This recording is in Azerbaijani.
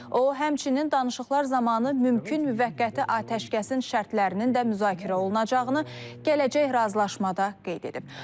O, həmçinin danışıqlar zamanı mümkün müvəqqəti atəşkəsin şərtlərinin də müzakirə olunacağını gələcək razılaşmada qeyd edib.